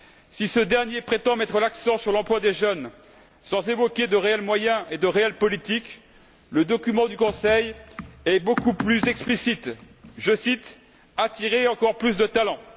Si ce dernier prétend mettre l'accent sur l'emploi des jeunes sans évoquer de réels moyens et de réelles politiques, le document du Conseil est beaucoup plus explicite, je cite Attirer encore beaucoup plus de talents.